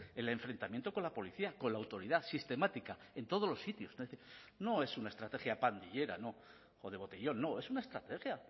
el enfrentamiento con la policía con la autoridad sistemática en todos los sitios no es una estrategia pandillera o de botellón no es una estrategia